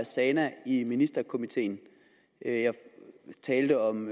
zana i ministerkomiteen jeg talte om